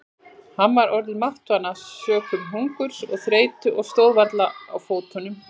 Hann var orðinn máttvana sökum hungurs og þreytu og stóð varla á fótunum.